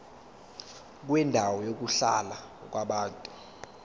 kwendawo yokuhlala yabantu